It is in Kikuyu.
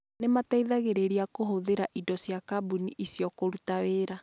Nĩ mateithagĩrĩria kũhũthĩra indo cia kambuni icio kũruta wĩra.